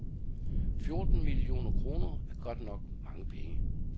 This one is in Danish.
Fjorten millioner kroner er godt nok mange penge.